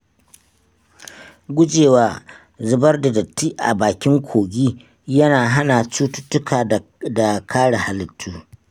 Gujewa zubar da datti a bakin kogi yana hana cututtuka da kare halittu.